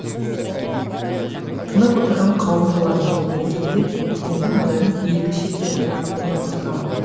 тынып отырған қауым бұлар не айтар екен деп енді назарын екі шетте отырған қонақтарға аударды